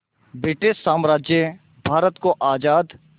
British साम्राज्य भारत को आज़ाद